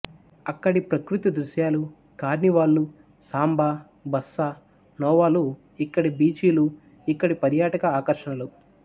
అక్కడి ప్రకృతి దృశ్యాలు కార్నివాళ్ళు సాంబా బస్సా నోవా లు ఇక్కడి బీచిలూ ఇక్కడి పర్యాటక ఆర్షణలు